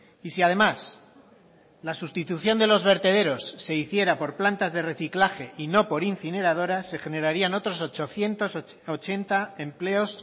y si además la sustitución de los vertederos se hiciera por plantas de reciclaje y no por incineradoras se generarían otros ochocientos ochenta empleos